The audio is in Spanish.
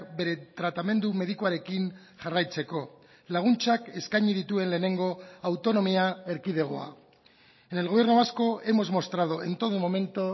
bere tratamendu medikuarekin jarraitzeko laguntzak eskaini dituen lehenengo autonomia erkidegoa en el gobierno vasco hemos mostrado en todo momento